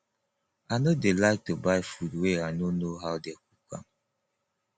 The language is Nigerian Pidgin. i no dey like to buy food wey i no know how they cook am